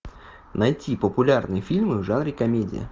найти популярные фильмы в жанре комедия